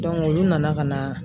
olu nana ka na.